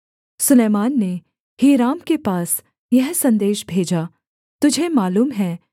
सुलैमान ने हीराम के पास यह सन्देश भेजा तुझे मालूम है